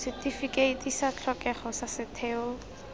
setifikeiti sa tlhokego sa setheo